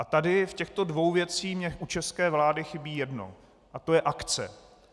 A tady v těchto dvou věcech mi u české vlády chybí jedno a to je akce.